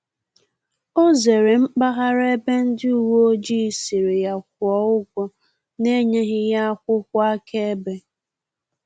Ọ zere mpaghara ebe ndị uweojii sịrị ya kwuo ụgwọ na enyeghi ya akwụkwọ aka-ebe